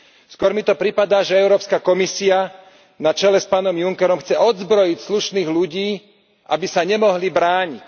Skôr mi to pripadá, že Európska komisia, na čele s pánom Junckerom, chce odzbrojiť slušných ľudí, aby sa nemohli brániť.